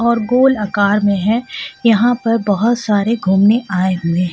और गोल आकार में है यहाँ पर बहुत सारे घूमने आए हुए हैं।